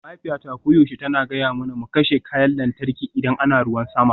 Mahaifiyata koyaushe tana gaya mana mu kashe kayan lantarki idan ana ruwan sama